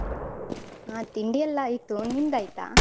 ಹ ತಿಂಡಿಯೆಲ್ಲ ಆಯ್ತು, ನಿಂದಾಯ್ತಾ?